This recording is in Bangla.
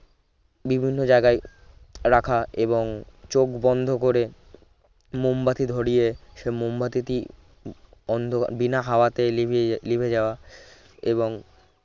বিভিন্ন জায়গায় রাখা এবং চোখ বন্ধ করে মোমবাতি ধরিয়ে সে মোমবাতিটি অন্ধ বিনা হাওয়াতে নিভিয়ে নিভে যাওয়া এবং